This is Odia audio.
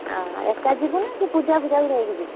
ଓହୋ ଏକା, ଯିବୁନା ସେ ପୂଜା ଫୂଜା ଙ୍କୁ ନେଇକି ଯିବୁ?